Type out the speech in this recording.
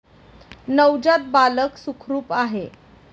नवजात बालक सुखरूप आहे.